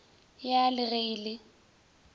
ya le ge e le